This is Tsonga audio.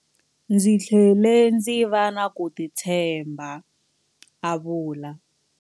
Ndzi tlhele ndzi va na ku titshemba, a vula.